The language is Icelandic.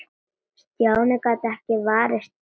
Stjáni gat ekki varist brosi.